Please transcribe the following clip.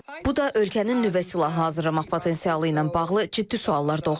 Bu da ölkənin nüvə silahı hazırlamaq potensialı ilə bağlı ciddi suallar doğurur.